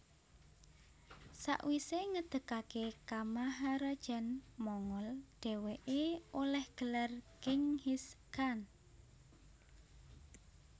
Sawisé ngedegaké kamaharajan Mongol dhèwèké olèh gelar Genghis Khan